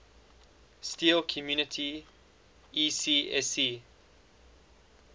steel community ecsc